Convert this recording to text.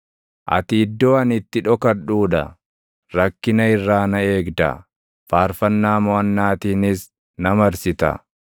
Ati iddoo ani itti dhokadhuu dha; rakkina irraa na eegda; faarfannaa moʼannaatiinis na marsita.